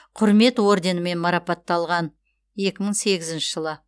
құрмет орденімен марапатталған екі мың сегізінші жылы